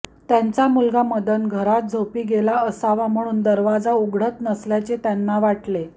त्यांचा मुलगा मदन घरात झोपी गेला असावा म्हणून दरवाजा उघडत नसल्याचे त्यांना वाटले